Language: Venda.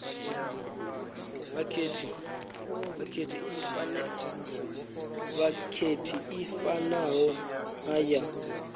vhakhethi i fanaho na ya